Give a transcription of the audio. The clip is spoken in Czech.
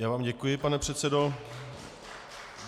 Já vám děkuji, pane předsedo.